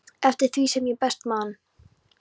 eftir því sem ég best man.